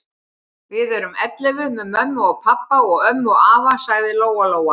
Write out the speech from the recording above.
Við erum ellefu með mömmu og pabba og ömmu og afa, sagði Lóa-Lóa.